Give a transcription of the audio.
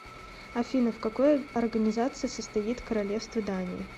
афина в какой организации состоит королевство дании